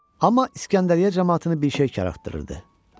Amma İskəndəriyyə camaatını bir şey qıcıqlandırırdı.